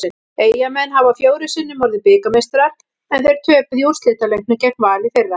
Eyjamenn hafa fjórum sinnum orðið bikarmeistarar en þeir töpuðu í úrslitaleiknum gegn Val í fyrra.